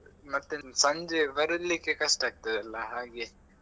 ಮತ್ತೆ ಸಂಜೆ ಬರ್ಲಿಕ್ಕೆ ಕಷ್ಟ ಆಗ್ತದಲ್ಲ ಹಾಗೆ.